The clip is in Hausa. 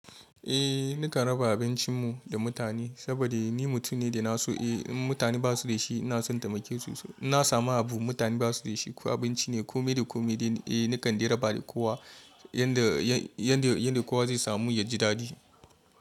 Eh nakan raba abincinmu da mutane saboda ni mutum ne da naso eh in mutane basu da shi inason taimake su. Inna samun abu mutane basu da shi ko abinci ne ko me da ko me de eh nakan raba da kowa yanda, yanda, yanda kowa zai samu ya ji daɗi.